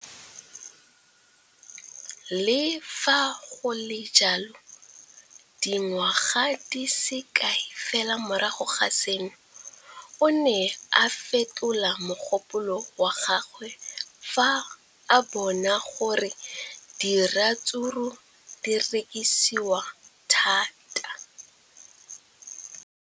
Le fa go le jalo, dingwaga di se kae fela morago ga seno, o ne a fetola mogopolo wa gagwe fa a bona gore diratsuru di rekisiwa thata.